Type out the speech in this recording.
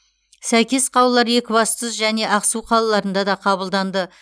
сәйкес қаулылар екібастұз және ақсу қалаларында да қабылданды